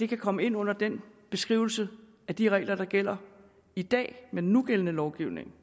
kan komme ind under den beskrivelse af de regler der gælder i dag med den nugældende lovgivning